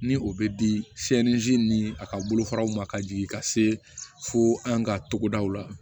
Ni o bɛ di ni a ka bolofaraw ma ka jigin ka se fo an ka togodaw la